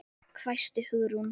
hvæsti Hugrún.